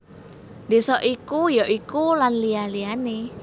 Désa iku ya iku Lan liya liyané